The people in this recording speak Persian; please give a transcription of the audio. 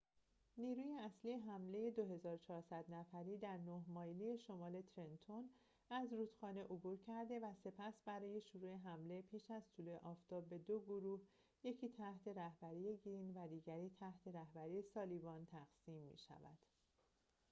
نیروی اصلی حمله ۲۴۰۰ نفری در نه مایلی شمال ترنتون از رودخانه عبور کرده و سپس برای شروع حمله پیش از طلوع آفتاب به دو گروه یکی تحت رهبری گرین و دیگری تحت رهبری سالیوان تقسیم می شود